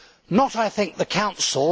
Not, I think, the Council.